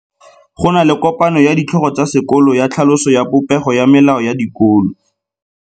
Go na le kopanô ya ditlhogo tsa dikolo ya tlhaloso ya popêgô ya melao ya dikolo.